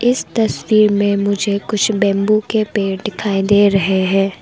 इस तस्वीर में मुझे कुछ बंबू के पेड़ दिखाई दे रहे हैं।